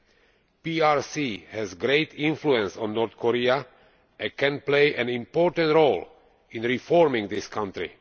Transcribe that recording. The PRC has a great influence on North Korea and can play an important role in reforming this country.